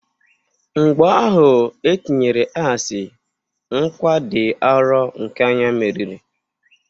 Mgbọ ahụ etinyere asii, nkwa dị arọ nke anya meriri.